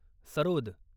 sarod